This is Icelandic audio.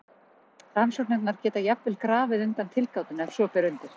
Rannsóknirnar geta jafnvel grafið undan tilgátunni ef svo ber undir.